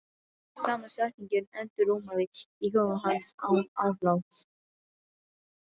Sama setningin endurómaði í huga hans án afláts.